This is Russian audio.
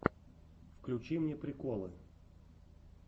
включи мне приколы